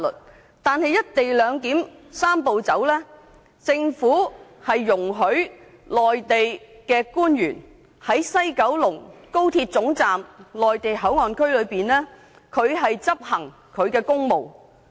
可是，根據"一地兩檢"的"三步走"安排，政府容許內地官員在西九高鐵總站的內地口岸區內執行公務。